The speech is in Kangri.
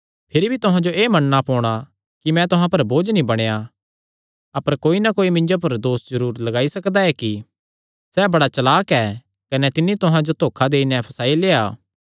भिरी भी तुहां जो एह़ मन्नणा पोणा कि मैं तुहां पर बोझ नीं बणेया अपर कोई ना कोई मिन्जो पर दोस जरूर लगाई सकदा ऐ कि सैह़ बड़ा चलाक ऐ कने तिन्नी तुहां जो धोखा देई नैं फसाई लेआ